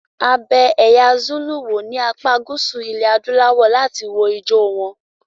A bẹ ẹ̀ya Zulu wò ní apá gúúsù ilẹ̀ adúláwọ̀ láti wo ijó wọn.